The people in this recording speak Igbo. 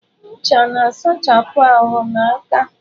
Ncha na-asachapụ ahụ na aka.